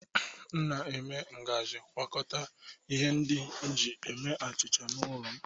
M na-eme ngaji gwakọta ihe ndị e ji eme achịcha n'ụlọ m.